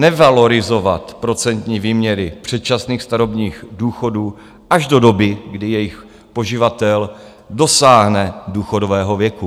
- nevalorizovat procentní výměry předčasných starobních důchodů až do doby, kdy jejich poživatel dosáhne důchodového věku.